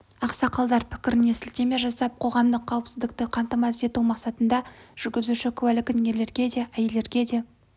ақсақалдар пікіріне сілтеме жасап қоғамдық қауіпсіздікті қамтамасыз ету мақсатында жүргізуші куәлігін ерлерге де әйелдерге де